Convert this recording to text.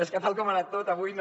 és que tal com ha anat tot avui no